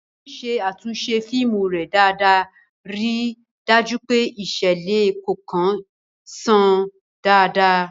Ngozi ṣe àtúnṣe fíìmù rẹ̀ dáadáa, ríi dájú pé ìṣẹ̀lẹ̀ kọ̀ọ̀kan ṣàn dáadáa.